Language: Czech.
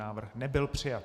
Návrh nebyl přijat.